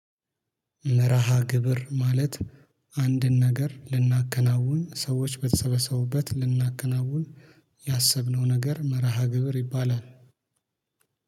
መርሃ ግብር ማለት አንድን ነገር ልናከናውን ሰዎች በተሰበሰቡበት ልናከናውን ያሰብነው ነገር መርሃ ግብር ይባላል